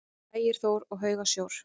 Ægir Þór: Og hauga sjór?